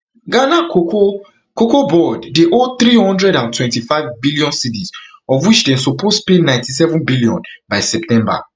ghana cocoa cocoa board dey owe three hundred and twenty-five billion cedis of which dem suppose pay ninety-seven billion by september